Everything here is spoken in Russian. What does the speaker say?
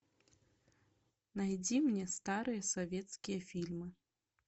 найди мне старые советские фильмы